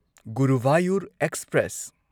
Guruvayur express